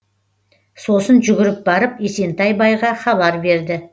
сосын жүгіріп барып есентай байға хабар берді